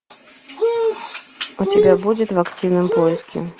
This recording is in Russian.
у тебя будет в активном поиске